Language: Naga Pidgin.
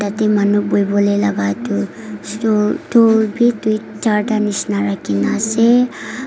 yatey manu buhibole laga tu stool tool bi dui charta nishina rakhina ase.